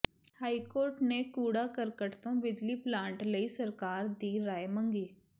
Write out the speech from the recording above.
high court ਨੇ ਕੂਡ਼ਾ ਕਰਕਟ ਤੋਂ ਬਿਜਲੀ ਪਲਾਂਟ ਲਈ ਸਰਕਾਰ ਦੀ ਰਾਏ ਮੰਗੀ